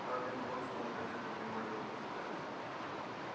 хардин бросил на газету мимолётный взгляд